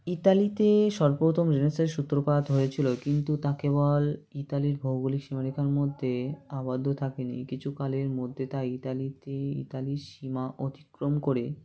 ইটালিতে সর্বপ্রথম Renaissance সূত্রপাত হয়েছিল কিন্তু তা কেবল ইতালির ভৌগোলিক সীমারেখার মধ্যে আবদ্ধ থাকে নি কিছুকালের মধ্যে তা ইতালিতেই ইতালির সীমা অতিক্রম করে